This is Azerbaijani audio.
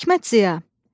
Hikmət Ziya.